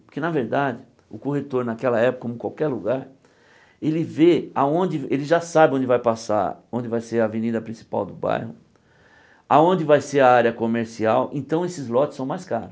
Porque, na verdade, o corretor, naquela época, como qualquer lugar, ele vê aonde, ele já sabe onde vai passar, onde vai ser a avenida principal do bairro, aonde vai ser a área comercial, então esses lotes são mais caros.